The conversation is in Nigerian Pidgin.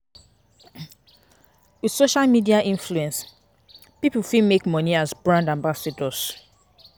With social media influence pipo fit make money as brand ambassadors